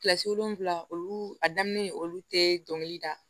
Kilasi wolonwula olu a daminɛ olu tee dɔnkili da